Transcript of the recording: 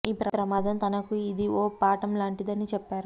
ఈ ప్రమాదం తనకు ఇది ఓ పాఠం లాంటిది అని చెప్పారు